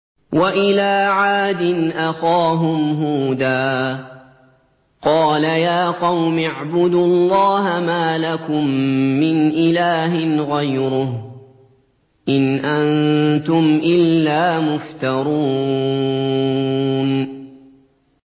وَإِلَىٰ عَادٍ أَخَاهُمْ هُودًا ۚ قَالَ يَا قَوْمِ اعْبُدُوا اللَّهَ مَا لَكُم مِّنْ إِلَٰهٍ غَيْرُهُ ۖ إِنْ أَنتُمْ إِلَّا مُفْتَرُونَ